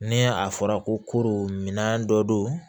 Ni a fɔra kooro minɛn dɔ do